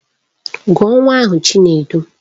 Gụọ nwa ahụ Chinedu!